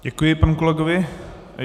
Děkuji panu kolegovi.